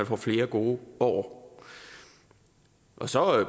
får flere gode år så og